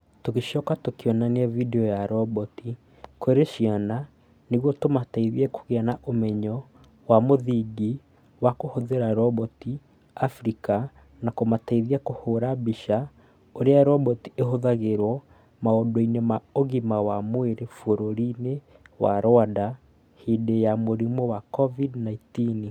Tũgĩcoka tũkĩonania video ya roboti kũrĩ ciana nĩguo tũmateithie kũgĩa na ũmenyo wa mũthingi wa kũhũthĩra roboti Abirika na kũmateithia kũhũũra mbica ũrĩa roboti ihũthagĩrwo maũndũ-inĩ ma ũgima wa mwĩrĩ bũrũri-inĩ wa Rwanda hĩndĩ ya mũrimũ wa covid 19.